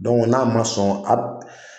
n'a ma sɔn